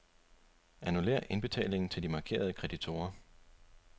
Annullér indbetalingen til de markerede kreditorer.